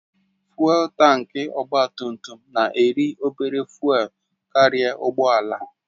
Fụ́élú tankị ọgba tum tum na-eri obere fụ́élú karịa ụgbọ ala